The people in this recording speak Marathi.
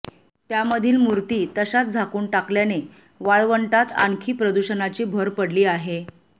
त्यामधील मूर्ती तशाच झाकून टाकल्याने वाळवंटात आणखी प्रदूषणाची भर पडली आहे